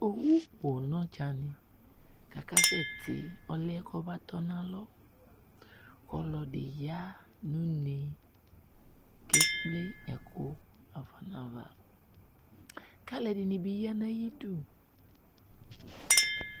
Owu poo nʋ ɔdzanɩ, kʋ akasɛti, ɔlʋ yɛ kʋ ɔbatɔ nʋ alɔ Ɔlɔdɩ ya nʋ une kʋ ekple ɛkʋ ɣafa nʋ ava, kʋ alu ɛdɩnɩ bɩ aya nʋ ayidu